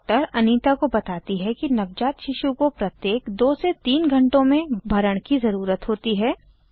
doctor Anita को बताती है कि नवजात शिशु को प्रत्येक 2 से 3 घण्टों में भरण की ज़रुरत होती है